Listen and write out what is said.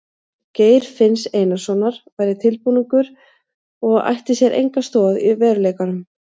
Geir finns Einarssonar væri tilbúningur og ætti sér enga stoð í veruleikanum.